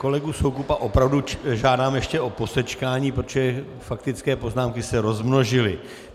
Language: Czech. Kolegu Soukupa opravdu žádám ještě o posečkání, protože faktické poznámky se rozmnožily.